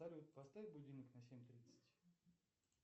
салют поставь будильник на семь тридцать